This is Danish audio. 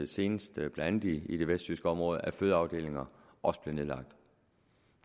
senest blandt andet i det vestjyske område at fødeafdelinger også bliver nedlagt